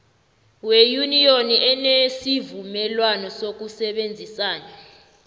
weyuniyoni enesivumelwana sokusebenzisana